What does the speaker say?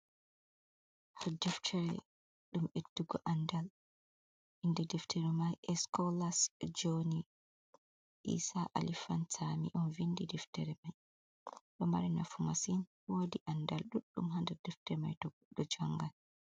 Deftere ɗum ɓedugo andal inde deftere mai scolas jony isa ali pantami on vindi deftere mai, ɗo mari nafu masin, wodi andal ɗuɗɗum hdeftee mai to goɗɗo jangan.